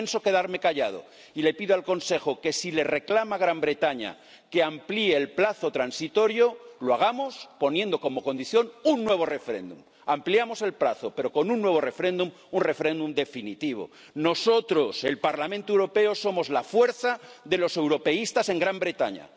No pienso quedarme callado y le pido al Consejo que, si le reclama el Reino Unido que amplíe el plazo transitorio, lo hagamos poniendo como condición un nuevo referéndum. Ampliamos el plazo, pero con un nuevo referéndum, un referéndum definitivo. Nosotros, el Parlamento Europeo somos la fuerza de los europeístas en el Reino Unido.